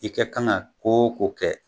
I kɛ kan ka ko o kɛ